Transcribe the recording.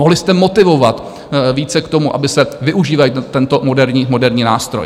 Mohli jste motivovat více k tomu, aby se využíval tento moderní nástroj.